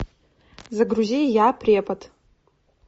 загрузи я препод